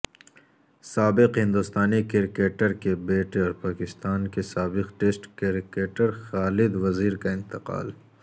سابق ہندوستانی کرکٹر کے بیٹے اور پاکستان کے سابق ٹیسٹ کرکٹر خالد وزیر کا انتقال